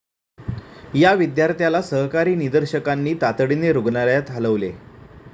या विद्यार्थ्याला सहकारी निदर्शकांनी तातडीने रूग्णालयात हालवले.